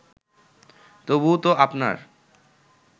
তবু তো আপনার